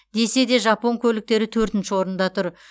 десе де жапон көліктері төртінші орында тұр